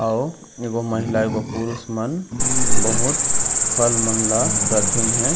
अऊ एगो महिला एगो पुरुष मन बहुत फल मन ल रखीन हे।